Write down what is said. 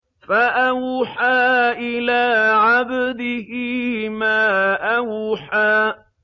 فَأَوْحَىٰ إِلَىٰ عَبْدِهِ مَا أَوْحَىٰ